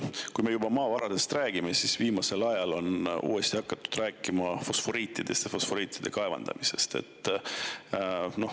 Kui me juba maavaradest räägime, siis viimasel ajal on uuesti hakatud rääkima fosforiidi kaevandamisest.